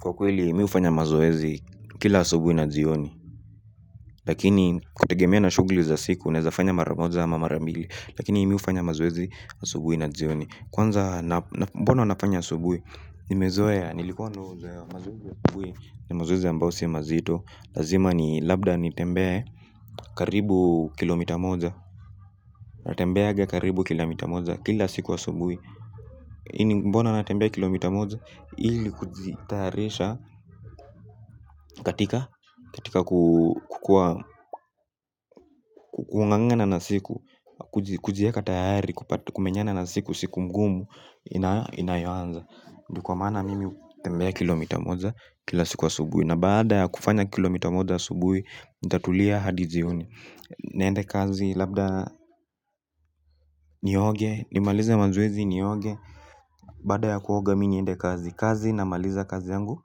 Kwa kweli mimi hufanya mazoezi kila asubuhi na jioni lakini ukitegemea na shughuli za siku naweza fanya mara moja ama mara mbili lakini mimi hufanya mazoezi asubuhi na jioni kwanza mbona nafanya asubuhi nimezoea nilikuwa nimezoea mazoezi ya asubuhi ni mazoezi ambayo si mazito lazima ni labda nitembee karibu kilomita moja na tembeanga karibu kila mita moja kila siku asubuhi. Ili mbona natembea kilomita moja ili kujitayarisha katika kukuwa kukungangana na siku. Kujiweka tayari kumenyana na siku siku mgumu inayoanza. Ndio kwa maana mimi hutembea kilomita moja kila siku asubuhi. Na baada ya kufanya kilomita moja asubuhi nitatulia hadi jioni. Naende kazi labda nioge nimalize mazoezi nioge. Baada ya kuoga mimi niende kazi kazi na maliza kazi yangu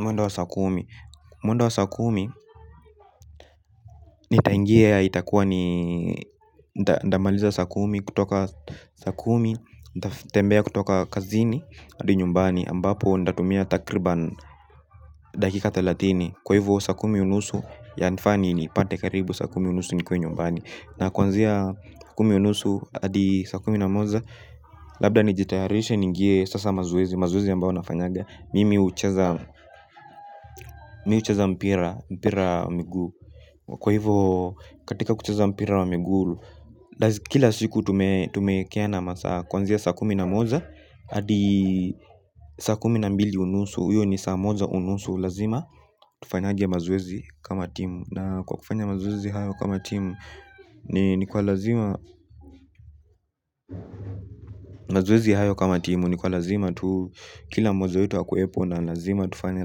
mwendo wa saa kumi. Mwendo wa saa kumi nitaingia ya itakuwa ni nitamaliza saa kumi kutoka saa kumi nitatembea kutoka kazini hadi nyumbani ambapo nitatumia takriban dakika thalathini kwa hivyo saa kumi unusu yanifaa ni nipate karibu saa kumi unusu nikuwe nyumbani na kwanzia saa kumi unusu hadi saa kumi na moja labda nijitayarishe niingie sasa mazoezi, mazoezi ambayo nafanyaga mimi hucheza mpira mpira mguu. Kwa hivyo katika kucheza mpira wa miguu. Kila siku tumeekeana kwanzia saa kumi na moja hadi saa kumi na mbili unusu. Hiyo ni saa moja unusu lazima. Tufanyange mazoezi kama timu. Na kwa kufanya mazoezi hayo kama timu. Ni kwa lazima. Mazoezi hayo kama timu. Ni kwa lazima tu. Kila moja wetu akuwepo na lazima tufanye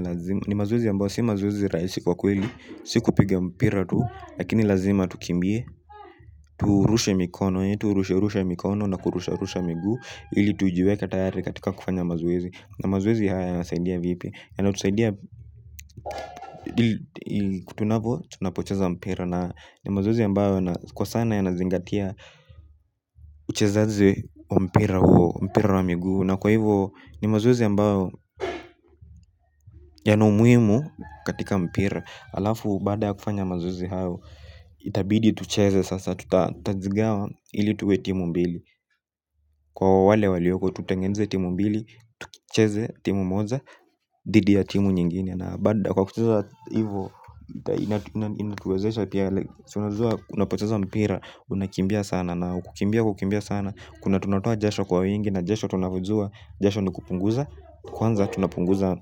lazima. Ni mazoezi ambayo si mazoezi rahisi kwa kweli. Siku piga mpira tu. Lakini lazima tukimbie. Turushe mikono yetu turushe rushe mikono na kurusha rusha miguu ili tujiweke tayari katika kufanya mazoezi. Na mazoezi haya ya nasaidia vipi. Ya natu saidia tunavo tunapocheza mpira. Na ni mazoezi ambayo kwa sana ya nazingatia uchezaji mpira huo mpira wa miguu. Na kwa hivo ni mazoezi ambao ya na umuhimu katika mpira. Alafu baada ya kufanya mazoezi hayo. Itabidi tucheze sasa. Tutatajigawa hili tuwe timu mbili. Kwa wale walioko tutengeneze timu mbili. Tukicheze timu moja dhidi ya timu nyingine. Na baada kwa kucheza hivo. Inatuwezesha pia like si unajua unapoteza mpira. Unakimbia sana na kukimbia kukimbia sana. Kuna tunatoa jasho kwa wingi. Na jasho tunavyojua jasho ni kupunguza. Kwanza tunapunguza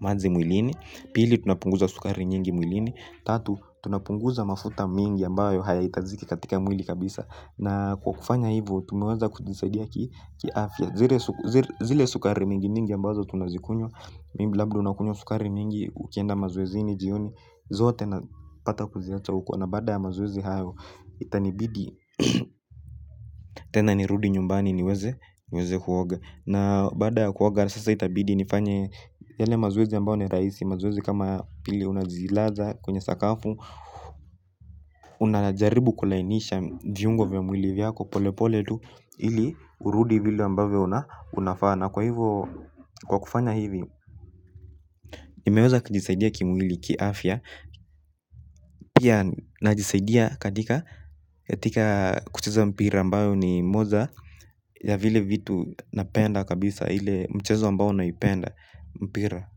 maji mwilini. Pili tunapunguza sukari nyingi mwilini. Tatu tunapunguza mafuta mingi ambayo hayahitajiki katika mwili kabisa. Na kwa kufanya hivyo tumeweza kujisadia ki afya. Zile sukari mingi nyingi ambazo tunazikunywa maybe labda unakunywa sukari mingi. Ukienda mazoezi ni jioni. Zote na pata kuziacha uko. Na baada ya mazoezi hayo. Itanibidi tena ni rudi nyumbani niweze niweze kuoga. Na baada ya kuoga sasa itabidi nifanye yale mazoezi ambao ni rahisi. Mazoezi kama pili unajilaza kwenye sakafu unajaribu kulainisha viungo vya mwili yako polepole tu ili urudi vile ambavyo unafaa na kwa hivyo unapofanya hivi. Nimeweza kujisaidia kimwili ki afya. Pia najisaidia katika katika kucheza mpira ambayo ni moja ya vile vitu napenda kabisa. Ile mchezo ambao naipenda mpira.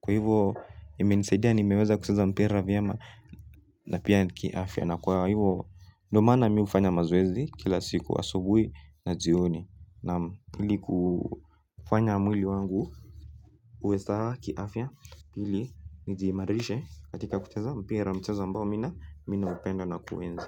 Kwa hivyo ime nisaidia. Nimeweza kucheza mpira vyema. Na pia ki afya. Na kwa hivyo ndio maana mimi hufanya mazoezi. Kila siku asubuhi na jioni. Na ili kufanya mwili wangu uwe sawa ki afya ili nijiimarishe katika kucheza mpira mchezo ambao mimi na mimi na upenda na kuuenzi.